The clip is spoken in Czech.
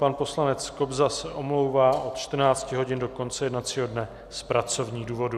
Pan poslanec Kobza se omlouvá od 14 hodin do konce jednacího dne z pracovních důvodů.